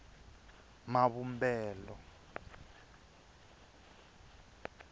mavumbelo